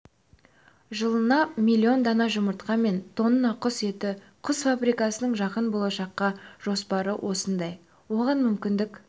жылына миллион дана жұмыртқа мен тонна құс еті құс фабрикасының жақын болашаққа жоспары осындай оған мүмкіндік